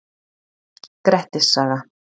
Grettis saga.